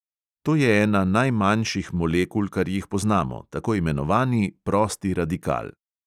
To je ena najmanjših molekul, kar jih poznamo, tako imenovani prosti radikal.